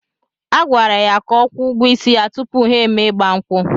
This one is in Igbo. A gwara ya ka ọ kwụọ ụgwọ isi ya tupu ha emee igba nkwu